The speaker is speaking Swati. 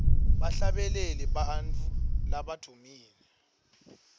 bahlabeleli bantfu labadvumile